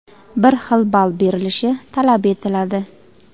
bir xil ball berilishi talab etiladi.